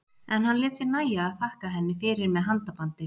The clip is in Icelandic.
En hann lét sér nægja að þakka henni fyrir með handabandi.